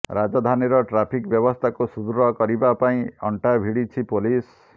ରାଜଧାନୀର ଟ୍ରାଫିକ ବ୍ୟବସ୍ଥାକୁ ସଦୃଢ କରିବା ପାଇଁ ଅଂଟା ଭିଡ଼ିଛି ପୋଲିସ